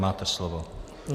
Máte slovo.